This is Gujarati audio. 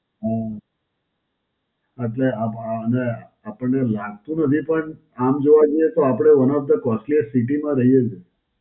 હાં, અત્યાર અ અ અમે આપણને એવું લાગતું નથી. પણ આમ જોવા જઈએ, તો આપડે One of the costliest city માં રહીએ છે.